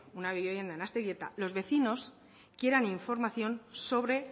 una vivienda en aztegieta los vecinos quieran información sobre